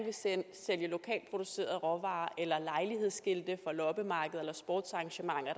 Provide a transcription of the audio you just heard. sælge lokalt producerede råvarer eller lejlighedsskilte for loppemarkeder eller sportsarrangementer